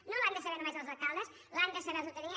no les han de saber només els alcaldes les han de saber la ciutadania